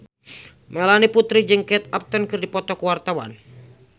Melanie Putri jeung Kate Upton keur dipoto ku wartawan